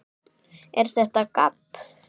ER ÞETTA GABB?